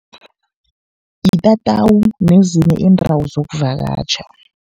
Itatawu nezinye iindawo zokuvakatjha.